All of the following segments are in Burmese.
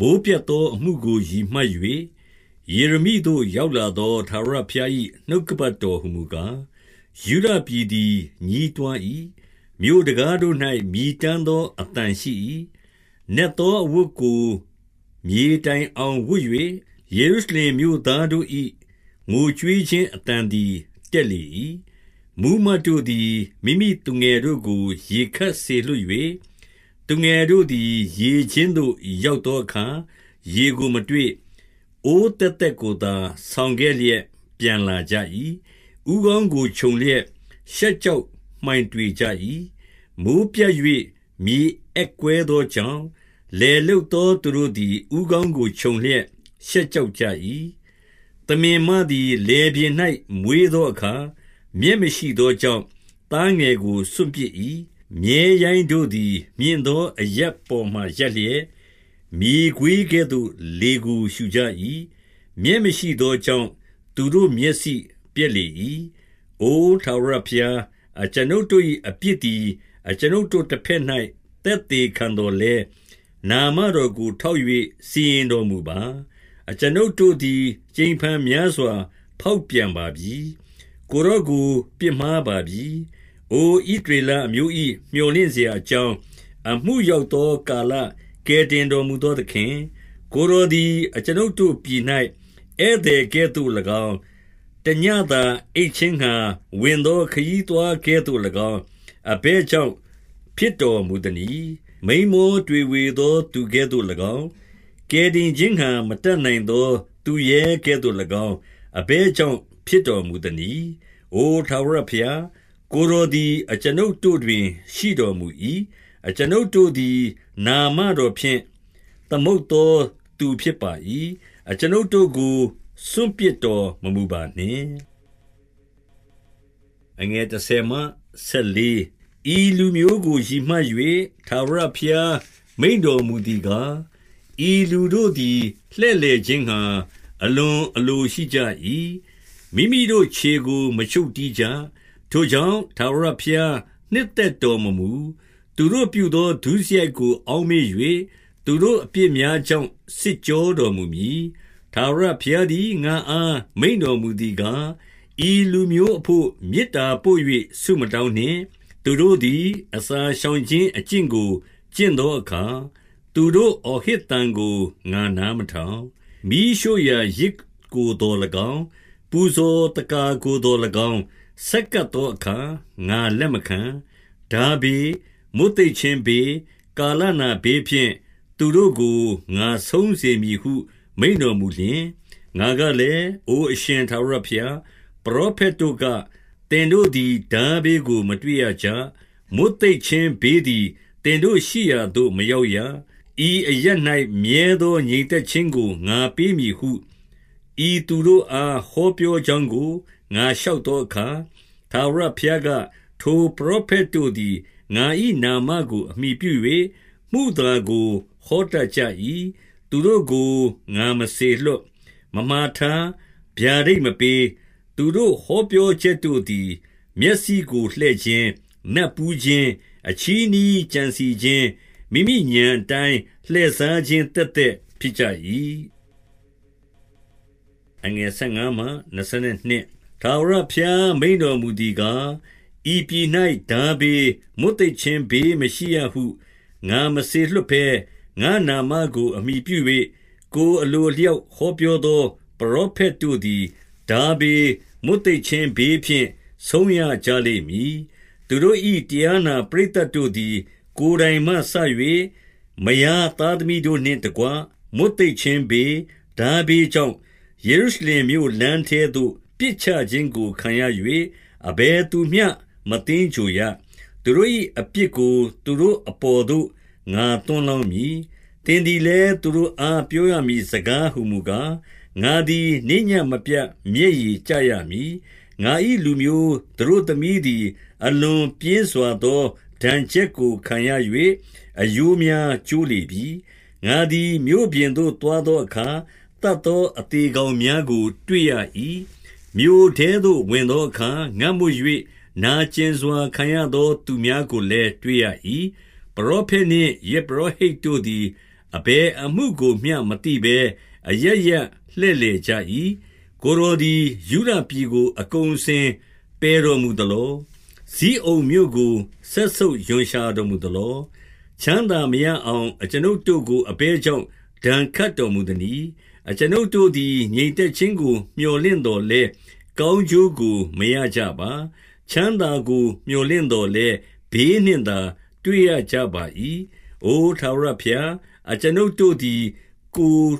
မိုဃ်းပြတ်သောအမှုကို ရည်မှတ်၍၊ ယေရမိသို့ ရောက်သော ထာဝရဘုရား၏ နှုတ်ကပတ်တော်ဟူ မူကား၊ 2 ယုဒပြည်သည် ညည်းတွား၏။ မြို့တံခါးတို့၌ မြည်တမ်းသော အသံရှိ၏။ နက်သောအဝတ်ကို မြေ တိုင်အောင်ဝတ်၍၊ ယေရုရှလင်မြို့သားတို့၏ ငိုကြွေး ခြင်း အသံသည် တက်လေ၏။ 3 မှူးမတ်တို့သည် မိမိသူငယ်တို့ကို ရေခပ် စေလွှတ်၍၊ သူငယ်တို့သည် ရေကျင်းသို့ရောက်သော အခါ၊ ရေကိုမတွေ့။ အိုးသက်သက်ကိုသာ ဆောင်ခဲ့လျက် ပြန်လာကြ၏။ ဦးခေါင်းကို ခြုံလျက်ရှက်ကြောက်မှိုင် တွေကြ၏။ 4 မိုဃ်းပြတ်၍ မြေအက်ကွဲသောကြောင့်၊ လယ် လုပ်သော သူတို့သည် ဦးခေါင်းကိုခြုံလျက် ရှက်ကြောက် ကြ၏။ 5 သမင်မသည် လယ်ပြင်၌ မွေးသောအခါ မြက် မရှိသောကြောင့်၊ သားငယ်ကို စွန့်ပစ်၏။ 6 မြည်းရိုင်းတို့သည် မြင့်သောအရပ်ပေါ်မှာ ရပ်လျက် မြေခွေးကဲ့သို့ လေကိုရှုကြ၏။ မြက်မရှိသော ကြောင့်၊ သူတို့ မျက်စိပျက်လေ၏။ 7 အိုထာဝရဘုရား၊ အကျွန်ုပ်တို့၏ အပြစ်သည် အကျွန်ုပ်တို့တဘက်၌ သက်သေခံသော်လည်း၊ နာမတော် ကို ထောက်၍စီရင်တော်မူပါ။ အကျွန်ုပ်တို့သည် ကြိမ်ဖန်များစွာ ဖောက်ပြန်ပါပြီ။ ကိုယ်တော်ကို ပြစ်မှား ပါပြီ။ 8 အို ဣသရေလအမျိုး၏ မြော်လင့်စရာ အကြောင်း၊ အမှုရောက်သော ကာလ ကယ်တင်တော်မူ သော သခင်၊ ကိုယ်တော်သည် အကျွန်ုပ်တို့ ပြည်၌ ဧည့်သည်ကဲ့သို့၎င်း၊ တညဉ့်သာ အိပ်ခြင်းငှါ ဝင်သော ခရီးသွားကဲ့သို့၎င်း၊ အဘယ်ကြောင့်ဖြစ်တော်မူသနည်း။ 9 မိန်းမောတွေဝေသော သူကဲ့သို့၎င်း၊ ကယ်တင် ခြင်းငှါမတတ်နိုင်သော သူရဲကဲ့သို့၎င်း၊ အဘယ်ကြောင့် ဖြစ်တော်မူသနည်း။ အိုထာဝရဘုရား၊ ကိုယ်တော်သည် အကျွန်ုပ်တို့တွင် ရှိတော်မူ၏။ အကျွန်ုပ်တို့သည် နာမတော်ဖြင့် သမုတ်သောသူဖြစ်ပါ၏။ အကျွန်ုပ်တို့ကို စွန့်ပစ်တော်မမူပါနှင့်။ 10 ဤလူမျိုးကို ရည်မှတ်၍ ထာဝရဘုရား မိန့်တော်မူသည်ကား၊ ဤလူတို့သည် လှည့်လည်ခြင်းငှါ အလွန်အလိုရှိကြ၏။ မိမိတို့ခြေကို မချုပ်တည်းကြ။ ထိုကြောင့်၊ ထာဝရဘုရားနှစ်သက်တော်မမူ။ သူတို့ ပြုသော ဒုစရိုက်ကို အောက်မေ့၍၊ သူတို့အပြစ်များ ကြောင့် စစ်ကြောတော်မူမည်။ 11 ထာဝရဘုရားသည် ငါ့အား မိန့်တော်မူသည် ကား၊ ဤလူမျိုးအဘို့ မေတ္တာပို့၍ ဆုမတောင်းနှင့်။ 12 သူတို့သည် အစာရှောင်ခြင်းအကျင့်ကို ကျင့် သောအခါ၊ သူတို့ အော်ဟစ်သံကို ငါနားမထောင်။ မီးရှို့ ရာယဇ်ကိုသော်၎င်း၊ ပူဇော်သက္ကာကိုသော်၎င်း၊ ဆက်ကပ် သောအခါ ငါလက်မခံ။ ထားဘေး၊ မွတ်သိပ်ခြင်းဘေး၊ ကာလနာဘေးဖြင့်၊ သူတို့ကို ငါဆုံးစေမည်ဟု မိန့်တော် မူလျှင်၊ 13 ငါကလည်း၊ အိုအရှင်ထာဝရဘုရား၊ ပရောဖက် တို့က၊ သင်တို့သည် ထားဘေးကို မတွေ့ရကြ။ မွတ်သိပ် ခြင်းဘေးသည် သင်တို့ရှိရာသို့ မရောက်ရ။ ဤအရပ်၌ မြဲသော ငြိမ်သက်ခြင်းကို ငါပေးမည်ဟု၊ ဤသူတို့ အားဟောပြောကြောင်းကို ငါလျှောက်သောအခါ၊ 14 ထာဝရဘုရားက၊ ထိုပရောဖက်တို့သည် ငါ၏ နာမကိုအမှီပြု၍ မုသာကို ဟောတတ်ကြ၏။ သူတို့ကို ငါမစေလွှတ်၊ မမှာထား၊ ဗျာဒိတ်မပေး။ သူတို့ ဟောပြော ချက်တို့သည် မျက်စိကို လှည့်ခြင်း၊ နတ်ပူးခြင်း၊ အချည်း နှီးကြံစည်ခြင်း၊ မိမိဥာဏ်အတိုင်း လှည့်စားခြင်း သက်သက်ဖြစ်ကြ၏။ 15 ထာဝရဘုရား မိန့်တော်မူသည်ကား၊ ဤပြည်၌ ထားဘေး၊ မွတ်သိပ်ခြင်း ဘေးမရှိရဟု၊ ငါမစေလွှတ်ဘဲ၊ ငါ့နာမကို အမှီပြု၍၊ ကိုယ်အလိုအလျောက် ဟောပြော သော ပရောဖက်တို့သည် ထားဘေး၊ မွတ်သိပ်ခြင်း ဘေးဖြင့် ဆုံးရကြလိမ့်မည်။ 16 သူတို့၏ တရားနာပရိသတ်တို့သည် ကိုယ်တိုင်မှ စ၍၊ မယား သားသမီးတို့နှင့်တကွ မွတ်သိပ်ခြင်းဘေး၊ ထားဘေးကြောင့်၊ ယေရုရှလင်မြို့လမ်းထဲသို့ ပစ်ချခြင်းကို ခံရ၍၊ အဘယ်သူမျှ မသင်္ဂြိုဟ်ရ။ သူတို့၏အပြစ်ကို သူတို့ အပေါ်သို့ ငါညွန်းလောင်းမည်။ 17 သင်သည်လည်း သူတို့အား ပြောရမည့်စကား ဟူမူကား၊ ငါသည် နေ့ညဉ့်မပြတ် မျက်ရည်ကျရမည်။ ငါ၏လူမျိုးသတို့သမီးသည် အလွန်ပြင်းစွာသော ဒဏ် ချက်ကို ခံရ၍ အရိုးများကျိုးလေပြီ။ 18 ငါသည်မြို့ပြင်သို့သွားသောအခါ၊ သတ်သော အသေကောင်များကို တွေ့ရ၏။ မြို့ထဲသို့ဝင်သောအခါ၊ ငတ်မွတ်၍ နာကျင်စွာခံရသော သူများကိုလည်း တွေ့ရ ၏။ ပရောဖက်နှင့် ယဇ်ပုရောဟိတ်တို့သည် အဘယ်အမှု ကိုမျှမသိဘဲ အရပ်ရပ်လှည့်လည်ကြ၏။ 19 ကိုယ်တော်သည် ယုဒပြည်ကို အကုန်အစင် ပယ်တော်မူသလော။ ဇိအုန်မြို့ကို စက်ဆုပ်ရွံရှာတော်မူသလော။ ချမ်းသာမရအောင် အကျွန်ုပ်တို့ကို အဘယ်ကြောင့် ဒဏ်ခတ်တော်မူသနည်း။ အကျွန်ုပ်တို့ သည် ငြိမ်သက်ခြင်းကို မြော်လင့်သော်လည်း၊ ကောင်းကျိုး ကို မရကြပါ။ ချမ်းသာကို မြော်လင့်သော်လည်း၊ ဘေးနှင့် သာ တွေ့ရကြပါ၏။ 20 အို ထာဝရဘုရား၊ အကျွန်ုပ်တို့သည် ကိုယ်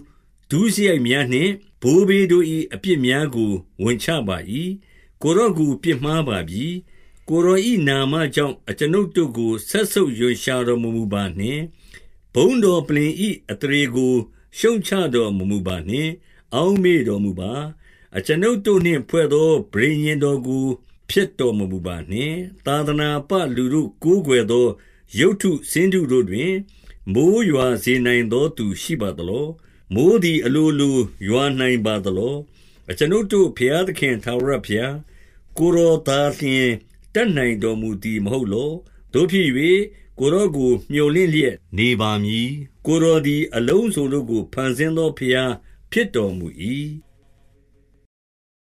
ဒုစရိုက်များနှင့် ဘိုးဘေးတို့၏ အပြစ်များကို ဝန်ချပါ၏။ ကိုယ်တော်ကို ပြစ်မှားပါပြီ။ 21 ကိုယ်တော်၏နာမကြောင့်၊ အကျွန်ုပ်တို့ကို စက်ဆုပ်ရွံရှာတော်မမူပါနှင့်။ ဘုန်းတော်ပလ္လင်၏ အသရေကို ရှုတ်ချတော်မမူပါနှင့်။ အောက်မေ့တော်မူပါ။ အကျွန်ုပ်တို့နှင့်ဖွဲ့သော ပဋိညာဉ်တော်ကို ဖျက်တော် မမူပါနှင့်။ 22 သာသနာပလူတို့ ကိုးကွယ်သော ရုပ်တု ဆင်းတု တို့တွင်၊ မိုဃ်းရွာစေနိုင်သော သူရှိပါသလော။ မိုဃ်းသည် အလိုလို ရွာနိုင်ပါသလော။ အကျွန်ုပ်တို့ ဘုရားသခင် ထာဝရဘုရား၊ ကိုယ်တော်သာလျှင် တတ်နိုင်တော်မူသည် မဟုတ်လော။ သို့ဖြစ်၍၊ ကိုယ်တော်ကို မြော်လင့်လျက်နေ ပါမည်။ ကိုယ်တော်သည် အလုံးစုံတို့ကို ဖန်ဆင်းသော ဘုရားဖြစ်တော်မူ၏။